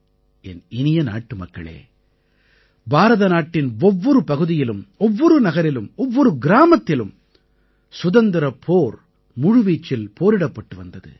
என் இனிய நாட்டுமக்களே பாரத நாட்டின் ஒவ்வொரு பகுதியிலும் ஒவ்வொரு நகரிலும் ஒவ்வொரு கிராமத்திலும் சுதந்திரப் போர் முழுவீச்சில் போரிடப்பட்டு வந்தது